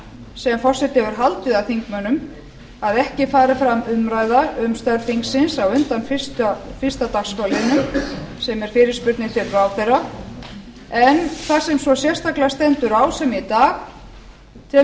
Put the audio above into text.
sem forseti hefur haldið að þingmönnum að ekki færi fram umræða um störf þingsins á undan fyrsta dagskrárliðnum sem er fyrirspurnir til ráðherra en þar sem svo sérstaklega stendur á sem í dag telur